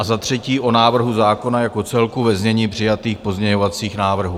A za třetí o návrhu zákona jako celku ve znění přijatých pozměňovacích návrhů.